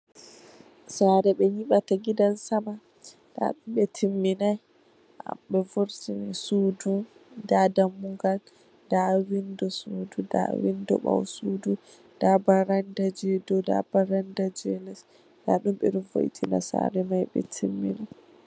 Sare ɓe nyiɓata gidan sama. Nda ɗum ɓe timminai. Be vurtini sudu, nda dammugal, nda windo sudu, nda windo ɓaw sudu, nda baranda jei dou, nda baranda jei les. Nda ɗum ɓe ɗo vo'itina sare mai, ɓe timminai.